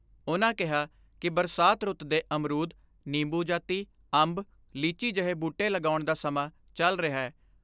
ਉਨ੍ਹਾਂ ਕਿਹਾ ਕਿ ਬਰਸਾਤ ਰੁੱਤ ਦੇ ਅਮਰੂਦ, ਨਿੰਬੂ ਜਾਤੀ, ਅੰਬ, ਲੀਚੀ ਜਹੇ ਬੂਟੇ ਲਗਾਉਣ ਦਾ ਸਮਾਂ ਚਲ ਦੇ ਰਿਹੈ।